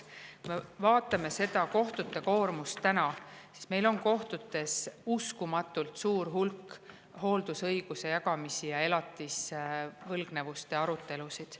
Kui me vaatame praegust kohtute koormust, siis meil on kohtutes uskumatult suur hulk hooldusõiguse jagamisi ja elatisvõlgnevuste arutelusid.